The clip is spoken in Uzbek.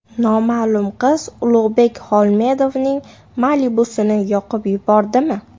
Noma’lum qiz Ulug‘bek Xolmedovning Malibu’sini yoqib yubordimi?